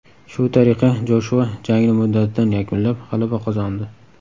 Shu tariqa Joshua jangni muddatidan yakunlab, g‘alaba qozondi.